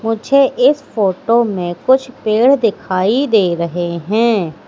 मुझे इस फोटो में कुछ पेड़ दिखाई दे रहे हैं।